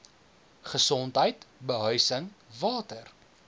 gesondheid behuising water